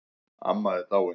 Amma er dáin